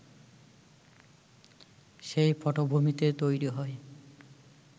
সেই পটভূমিতে তৈরি হয়